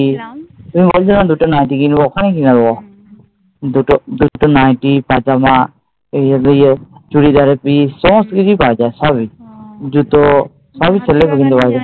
তুমি বলছিলাম দুটো নাইটি কিনবো ওখানে কিনে দেবো। দুটো দুটো নাইটি, তারপর যা ঐ ঐগুলো চুড়িদারের পিস সমস্ত কিছুই পাওয়া যায় সবই, জুতো